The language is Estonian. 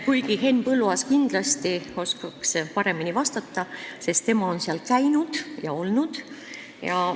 Kuigi Henn Põlluaas oskaks kindlasti paremini vastata, sest tema on seal käinud ja olnud.